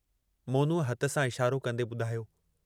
मोनू हथ सां इशारो कंदे ॿुधायो।